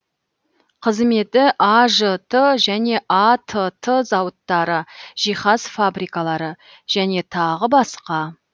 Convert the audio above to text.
қызметі ажт және атт зауыттары жиһаз фабрикалары және тағы басқа